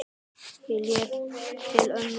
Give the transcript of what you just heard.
Ég leit til mömmu.